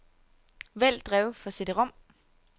Vælg drev for cd-rom.